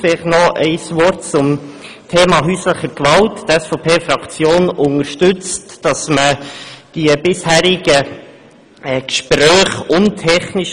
Noch etwas zum Thema häuslicher Gewalt: Die SVPFraktion unterstützt, dass man die bisherigen Gespräche weiterführt.